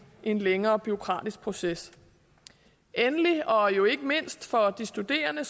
en længere bureaukratisk proces endelig og jo ikke mindst for de studerende